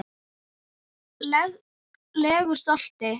legu stolti.